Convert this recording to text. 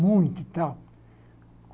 muito e tal.